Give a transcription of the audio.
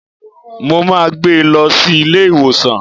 Mo máa gbé lọ sí ilé ìwòsàn.